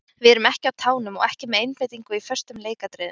Við erum ekki á tánum og ekki með einbeitingu í föstum leikatriðum.